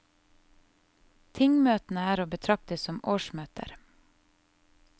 Tingmøtene er å betrakte som årsmøter.